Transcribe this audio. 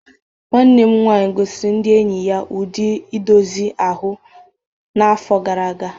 Nwanne m nwaanyị gosiri ndị enyi ya ụdị edozi ahụ n’afọ gara aga